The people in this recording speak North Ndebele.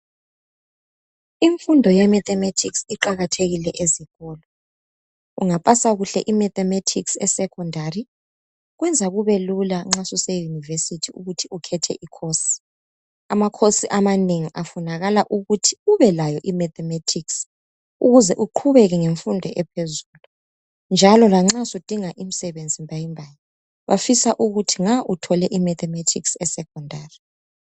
Imfundo yeMathematics iqakathekile ezikolo ,ungapasa kuhle iMathematics esekhondari kwenza kubelula nxa suse univesithi ukuthi ukhethe ikhosi amakhosi amanengi afunakala ukuthi ubelayo iMathematics ukuze uqhubeke ngemfundo ephezulu njalo lanxa sudinga imisebenzi mbayimbayi bafisa ukuthi nga uthole iMathematics esekhondari